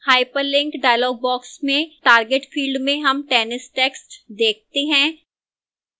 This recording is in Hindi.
hyperlink dialog box में target field में हम tennis text देखते हैं